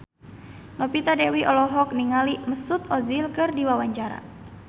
Novita Dewi olohok ningali Mesut Ozil keur diwawancara